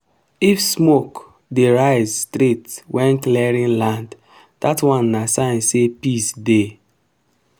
if smoke dey rise straight when clearing land that one na sign say peace dey.